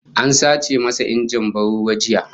An sace masa injin ban ruwa jiya